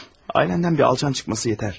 Ailəmdən bir alçaq çıxması bəsdir.